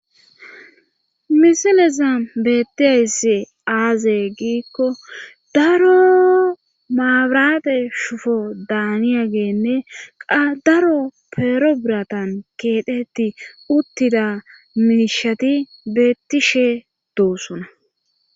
misileza bettiayssu aaze giikko daro maabirate shuuboda haniyageenne qa daro peero biratan keeteti uttida miishati beettishe doossona